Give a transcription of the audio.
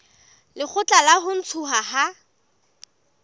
lekgotla la ho ntshuwa ha